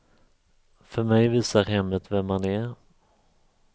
För mig visar hemmet vem man är.